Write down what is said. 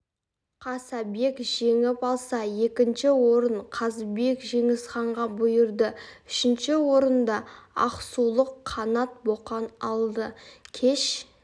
қасабек жеңіп алса екінші орын қазыбек жеңісханға бұйырды үшінші орынды ақсулық қанат боқан алды кеш